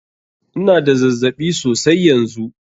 Ina da zazzaɓi sosai yanzu.